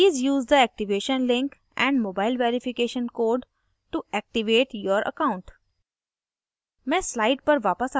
please use the activation link and mobile verification code to activate your account